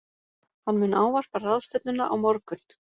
Hann mun ávarpa ráðstefnuna á morgun